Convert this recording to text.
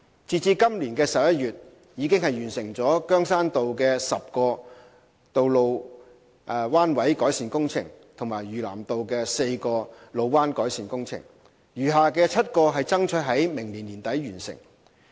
截至今年11月，已完成羗山道的10個路彎改善工程及嶼南道的4個路彎改善工程，餘下的7個爭取於明年年底完成。